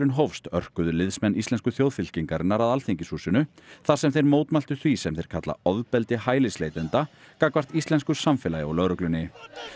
hófst örkuðu liðsmenn Íslensku að Alþingishúsinu þar sem þeir mótmæltu því sem þeir kalla ofbeldi hælisleitenda gagnvart íslensku samfélagi og lögreglunni